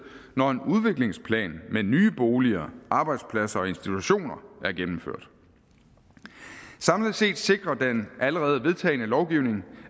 når en udviklingsplan med nye boliger arbejdspladser og institutioner er gennemført samlet set sikrer den allerede vedtagne lovgivning